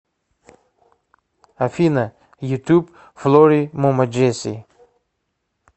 афина ютуб флори мумаджеси